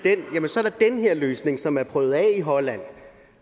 her løsning som er prøvet af i holland